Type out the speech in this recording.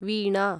वीणा